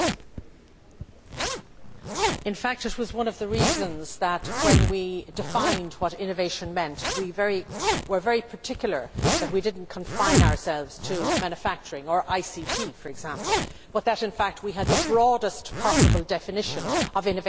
In fact that was one of the reasons why, when we defined what innovation meant, we were very particular that we did not confine ourselves to manufacturing or ICT for example, but that in fact we had the broadest possible definition of innovation, which included services,